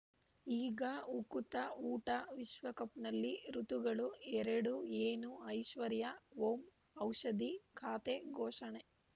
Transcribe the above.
ಈಗ ಉಕುತ ಊಟ ವಿಶ್ವಕಪ್‌ನಲ್ಲಿ ಋತುಗಳು ಎರಡು ಏನು ಐಶ್ವರ್ಯಾ ಓಂ ಔಷಧಿ ಖಾತೆ ಘೋಷಣೆ